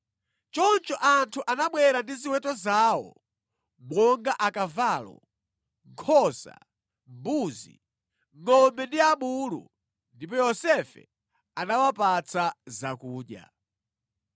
Choncho anthu anabwera ndi ziweto zawo monga akavalo, nkhosa, mbuzi, ngʼombe ndi abulu ndipo Yosefe anawapatsa zakudya.